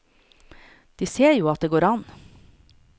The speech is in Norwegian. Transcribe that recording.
De ser at det går an.